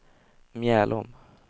Mjällom